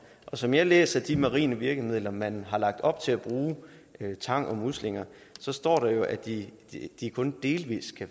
og som jeg læser de marine virkemidler man har lagt op til at bruge tang og muslinger står der jo at de ting kun delvis vil